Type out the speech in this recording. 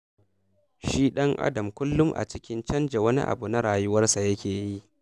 Shi ɗan'adam kullum a cikin canja wani abu na rayuwarsa yake yi.